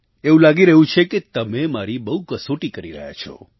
એવું લાગી રહ્યું છે કે તમે મારી બહુ કસોટી કરી રહ્યા છો